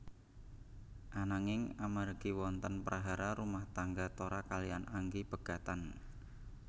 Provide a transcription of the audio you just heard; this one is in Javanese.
Ananging amargi wonten prahara rumah tangga Tora kaliyan Anggi pegatan